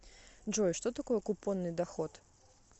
джой что такое купонный доход